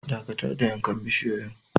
Dakatar da yankan bisiyoyin.